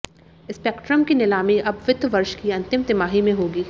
spectrum की नीलामी अब वित्त वर्ष की अंतिम तिमाही में होगी